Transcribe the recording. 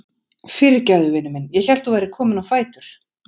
Fyrirgefðu, vinur minn, ég hélt þú værir kominn á fætur.